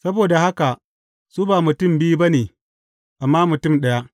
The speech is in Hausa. Saboda haka, su ba mutum biyu ba ne, amma mutum ɗaya.